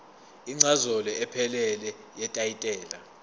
incazelo ephelele yetayitela